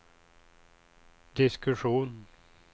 diskussion